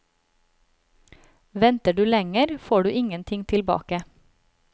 Venter du lenger, får du ingenting tilbake.